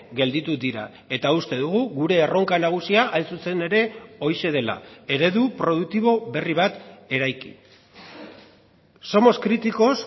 gelditu dira eta uste dugu gure erronka nagusia hain zuzen ere horixe dela eredu produktibo berri bat eraiki somos críticos